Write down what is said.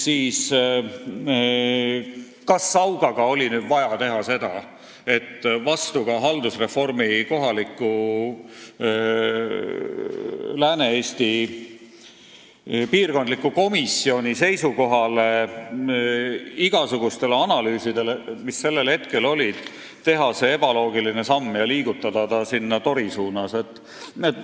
Kas Sauga puhul oli ikka vaja vastupidi haldusreformi Lääne-Eesti piirkondliku komisjoni seisukohale ja igasuguste analüüside järeldustele teha see ebaloogiline samm ja liigutada ta sinna Tori suunas?